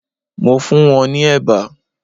Mo funwon ni eba